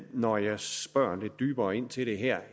når jeg spørger lidt dybere ind til det her